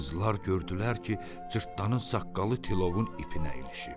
Qızlar gördülər ki, cırtdanın saqqalı tilovun ipinə ilişib.